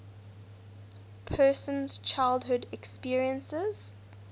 person's childhood experiences